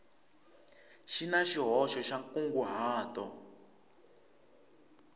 xi na xihoxo xa nkunguhato